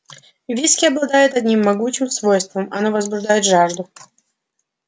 виски обладает одним могучим свойством оно возбуждает жажду